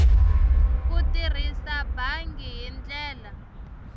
ku tirhisa bangi hi ndlela